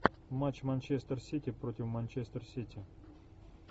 матч манчестер сити против манчестер сити